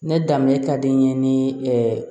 Ne danbe ka di n ye ni